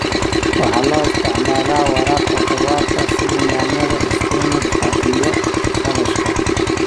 Waxa loo isticmaalaa waraabka khudaarta sida yaanyada, isbinaajka, iyo kaabashka.